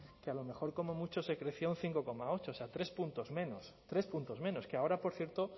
que a lo mejor como mucho se crecía un cinco coma ocho o sea tres puntos menos que ahora por cierto